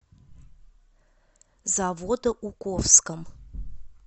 заводоуковском